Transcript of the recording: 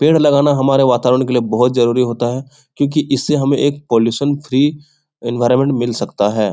पेड़ लगाना हमारे वातावरण के लिए बहुत जरुरी होता है क्यूंकि इससे हमें एक पोल्लुशन फ्री एनवायरमेंट मिल सकता है।